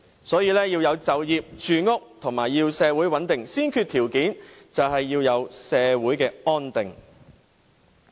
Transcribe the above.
所以，要有就業、住屋，以及社會穩定，先決條件便是要有社會安定。